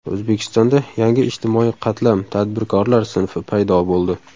O‘zbekistonda yangi ijtimoiy qatlam tadbirkorlar sinfi paydo bo‘ldi.